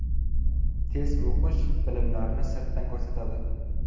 Tez o‘qish bilimlarni sirtdan ko‘rsatadi.